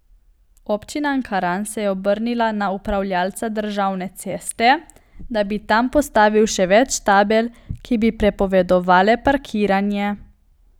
Občina Ankaran se je obrnila na upravljavca državne ceste, da bi tam postavil še več tabel, ki bi prepovedovale parkiranje.